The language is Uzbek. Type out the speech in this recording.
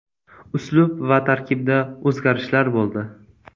Uslub va tarkibda o‘zgarishlar bo‘ldi.